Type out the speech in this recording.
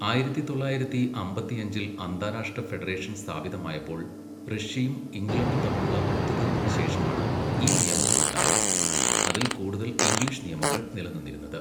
ആയിരത്തി തൊള്ളായിരത്തി അമ്പത്തിയഞ്ചിൽ അന്താരാഷ്ട്ര ഫെഡറേഷൻ സ്ഥാപിതമായപ്പോൾ, റഷ്യയും, ഇംഗ്ലണ്ടും തമ്മിലുള്ള ഒത്തുതീർപ്പിന് ശേഷമാണ് ഈ നിയമങ്ങൾ ഉണ്ടായത്, അതിൽ കൂടുതൽ ഇംഗ്ലീഷ് നിയമങ്ങൾ നിലനിന്നിരുന്നത്.